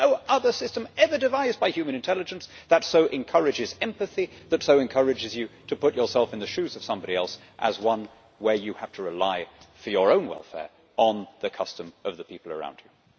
There is no other system ever devised by human intelligence that so encourages empathy, that so encourages you to put yourself in the shoes of somebody else, as one where you have to rely for your own welfare on the custom of the people around you.